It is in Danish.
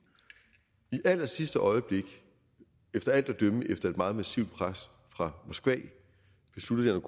i allersidste øjeblik efter alt at dømme efter et meget massivt pres fra moskva besluttede